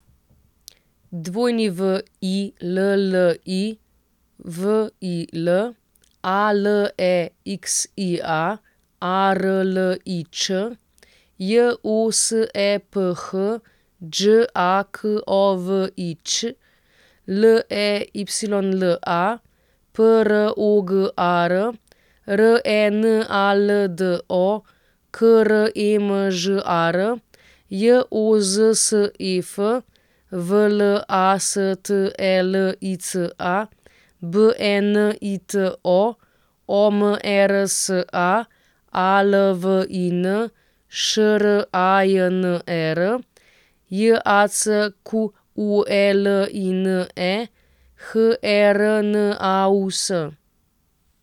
W I L L I, V I L; A L E X I A, A R L I Č; J O S E P H, Đ A K O V I Ć; L E Y L A, P R O G A R; R E N A L D O, K R E M Ž A R; J O Z S E F, V L A S T E L I C A; B E N I T O, O M E R S A; A L V I N, Š R A J N E R; J A C Q U E L I N E, H E R N A U S.